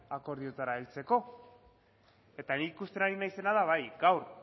akordioetara heltzeko ni ikusten ari naizena bai gaur